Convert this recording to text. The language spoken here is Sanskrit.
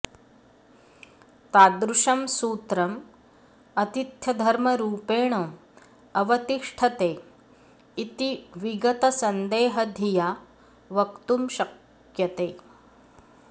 तादृशं सूत्रम् आतिथ्यधर्मरूपेण अवतिष्ठते इति विगतसन्देहधिया वक्तुं शक्यते